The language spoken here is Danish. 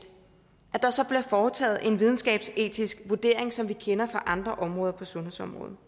så bliver der foretaget en videnskabsetisk vurdering som vi kender det fra andre områder på sundhedsområdet